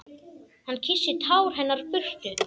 Hann kyssir tár hennar burtu.